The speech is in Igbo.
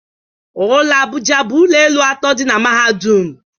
Ụlọ Abuja bụ ụlọ elu atọ dị na mahadum